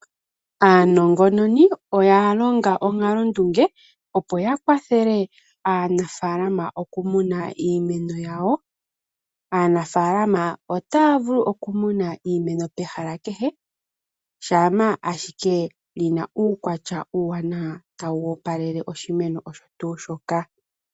Aanongononi oya longa onkalondunge opo ya kwathele aanafalama okumuna iimeno yawo. Aanafalama otaya vulu okumuna iimeno pehala kehe shampa ashike li na uukwatya uuwanawa tawu opalele oshimeno osho tuu shoka.